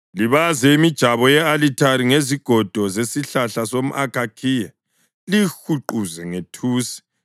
Libaze imijabo ye-alithare ngezigodo zesihlahla somʼakhakhiya liyihuqe ngethusi.